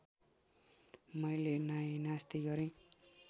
मैले नाइनास्ती गरेँ